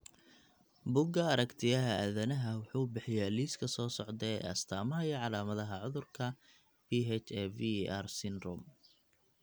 Bugga Aaragtiyaha Aadanaha wuxuu bixiyaa liiska soo socda ee astamaha iyo calaamadaha cudurka PHAVER syndrome.